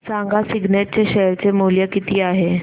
सांगा सिग्नेट चे शेअर चे मूल्य किती आहे